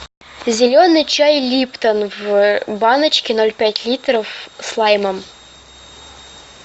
зеленый чай липтон в баночке ноль пять литров с лаймом